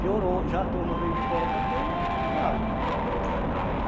Piorou, já a turma veio de fora também, claro.